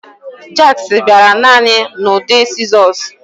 Jacks bịara naanị n'ụdị sịzọs